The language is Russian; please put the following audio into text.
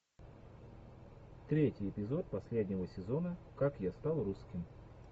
третий эпизод последнего сезона как я стал русским